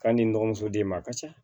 K'a ni n dɔgɔmuso de ma a ka ca